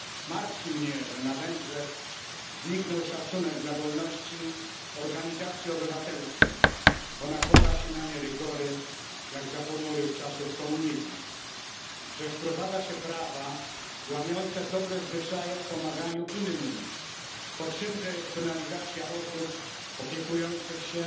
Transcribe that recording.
Martwi mnie, że na Węgrzech zniknął szacunek dla wolności organizacji obywatelskich, bo nakłada się na nie rygory, jak za ponurych czasów komunizmu, że wprowadza się prawa łamiące dobre zwyczaje w pomaganiu innym, bo czymże jest penalizacja osób opiekujących się